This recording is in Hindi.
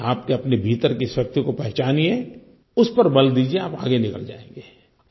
बस आप के अपने भीतर की शक्ति को पहचानिए उस पर बल दीजिए आप आगे निकल जाएँगे